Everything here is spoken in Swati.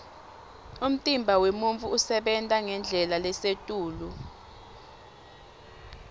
umtimba wemuntfu usebenta ngendlela lesetulu